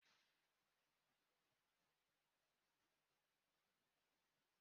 Nwanne m nwoke kpọrọ nta akụkọ foto asi.